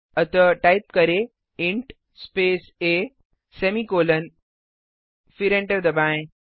अतः टाइप करें int a semicolon फिर एंटर दबाएँ